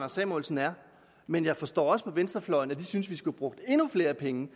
samuelsen er men jeg forstår også på venstrefløjen at de synes at vi skulle have brugt endnu flere penge